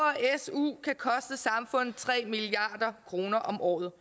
su kan koste samfundet tre milliard kroner om året